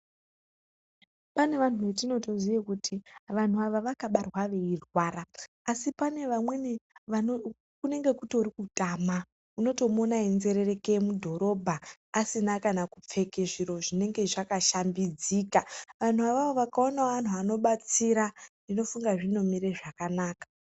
Pane vanhu vetinotoziye kuti vanhu ava vakabarwa veirwara asi pane vamweni vano kunenge kutori kutama unotomuona einzerereke mudhorobha asina kana kupfeke zviro zvinenge zvakashambidzika. Vanhu avavo vakaonawo vanhu vanobatsira ndofunga zvinomire zvakanaka.